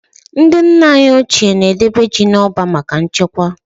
Ndị nna anyị ochie na-edebe ji n'ọba maka nchekwa.